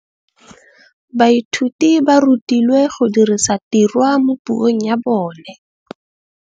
Baithuti ba rutilwe go dirisa tirwa mo puong ya bone.